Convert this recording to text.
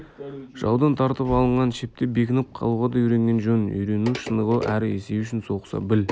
жаудан тартып алынған шепте бекініп қалуға да үйренген жөн үйрену шынығу әрі есею үшін соғыса біл